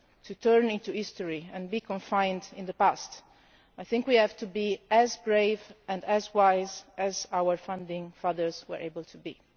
to become history and be confined to the past, I think we have to be as brave and as wise as our founding fathers were able to be.